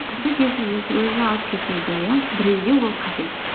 кісі өзі алып кетеді иә біреуге ол қажет